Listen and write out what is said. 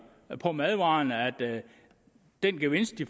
på madvarer at den gevinst